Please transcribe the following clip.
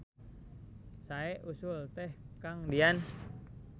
Sae usul teh Kang Dian.